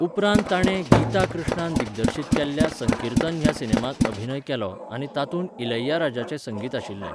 उपरांत ताणें गीता कृष्णान दिग्दर्शीत केल्ल्या 'संकीर्तन' ह्या सिनेमांत अभिनय केलो आनी तातूंत इलैयाराजाचें संगीत आशिल्लें.